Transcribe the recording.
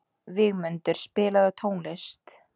Vígmundur, spilaðu tónlist.